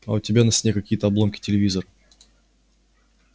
а у тебя на стене какие-то обломки телевизор